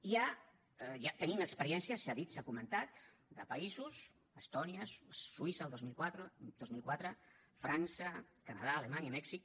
hi ha tenim experiències s’ha dit s’ha comentat de països estònia suïssa el dos mil quatre frança canadà alemanya mèxic